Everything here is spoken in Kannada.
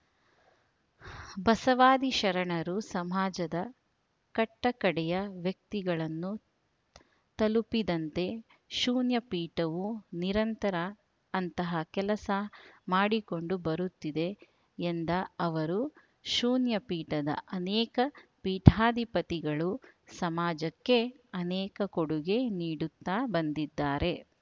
ಬಸವಾದಿ ಶರಣರು ಸಮಾಜದ ಕಟ್ಟಕಡೆಯ ವ್ಯಕ್ತಿಗಳನ್ನು ತಲುಪಿದಂತೆ ಶೂನ್ಯಪೀಠವೂ ನಿರಂತರ ಅಂತಹ ಕೆಲಸ ಮಾಡಿಕೊಂಡು ಬರುತ್ತಿದೆ ಎಂದ ಅವರು ಶೂನ್ಯ ಪೀಠದ ಅನೇಕ ಪೀಠಾಧಿಪತಿಗಳು ಸಮಾಜಕ್ಕೆ ಅನೇಕ ಕೊಡುಗೆ ನೀಡುತ್ತಾ ಬಂದಿದ್ದಾರೆ